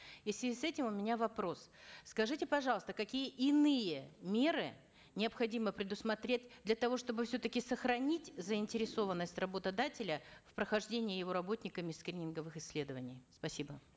и в связи с этим у меня вопрос скажите пожалуйста какие иные меры необходимо предусмотреть для того чтобы все таки сохранить заинтересованность работодателя в прохождении его работниками скрининговых исследований спасибо